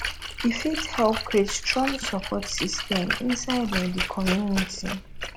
e fit help create strong sopport system inside um di community